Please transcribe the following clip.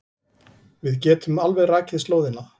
Við getum alveg rakið slóðina.